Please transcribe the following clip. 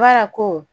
Wala ko